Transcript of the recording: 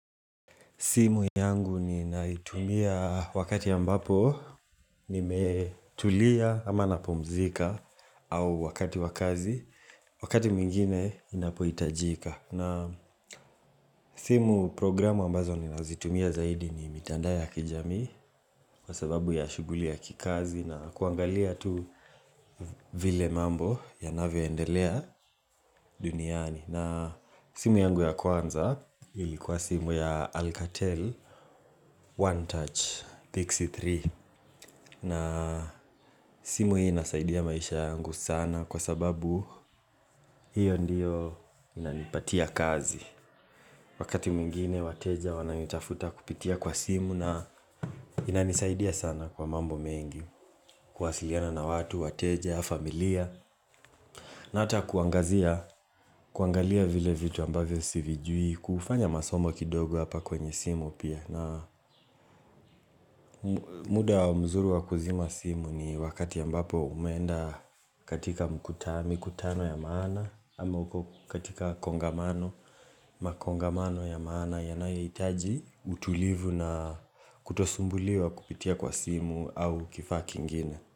Simu yangu ninaitumia wakati ambapo nimetulia ama napumzika au wakati wa kazi, wakati mwingine inapohitajika. Na simu programu ambazo ninazitumia zaidi ni mitandao ya kijamii kwa sababu ya shughuli ya kikazi na kuangalia tu vile mambo yanavyo endelea duniani. Na simu yangu ya Kwanza ilikuwa simu ya Alcatel OneTouch Pixie3 na simu hii inasaidia maisha yangu sana kwa sababu hiyo ndiyo inanipatia kazi Wakati mwingine wateja wananitafuta kupitia kwa simu na inanisaidia sana kwa mambo mengi kuwasiliana na watu, wateja, familia na hata kuangazia, kuangalia vile vitu ambavyo sivijui, kufanya masomo kidogo hapa kwenye simu pia. Na muda mzuri wa kuzima simu ni wakati ambapo umeenda katika mkuta, mikutano ya maana, ama uko katika kongamano, makongamano ya maana, yanayohitaji, utulivu na kutosumbuliwa kupitia kwa simu au kifaa kingine.